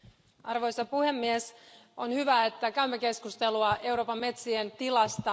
Arvoisa puhemies, on hyvä, että käymme keskustelua Euroopan metsien tilasta.